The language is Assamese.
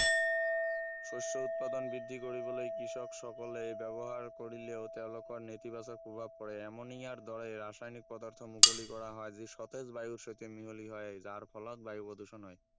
শস্য় উৎপাদন বৃদ্ধি কৰিবলৈ কৃষকসকলে ব্যৱহাৰ কৰিলেও তেওঁলোকৰ নেতিবাচক প্ৰভাৱ পৰে এমনিয়াৰ দৰে ৰাসায়নিক পদাৰ্থ মুকলি কৰা হয় যি সতেজ বায়ুৰ সৈতে মিহলি হয় যাৰ ফলত বায়ু প্ৰদূষণ হয়